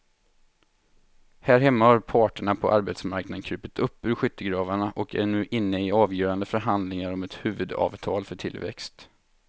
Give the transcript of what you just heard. Här hemma har parterna på arbetsmarknaden krupit upp ur skyttegravarna och är nu inne i avgörande förhandlingar om ett huvudavtal för tillväxt.